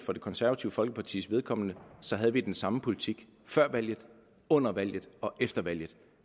for det konservative folkepartis vedkommende havde vi den samme politik før valget under valget og efter valget